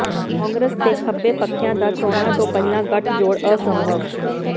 ਕਾਂਗਰਸ ਤੇ ਖੱਬੇ ਪੱਖੀਆਂ ਦਾ ਚੋਣਾਂ ਤੋਂ ਪਹਿਲਾਂ ਗੱਠਜੋੜ ਅਸੰਭਵ